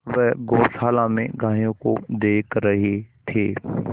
वे गौशाला में गायों को देख रहे थे